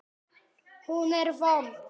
Hún er vond.